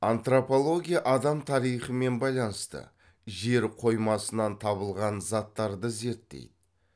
антропология адам тарихымен байланысты жер қоймасынан табылған заттарды зерттейді